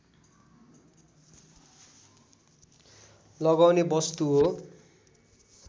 लगाउने वस्तु हो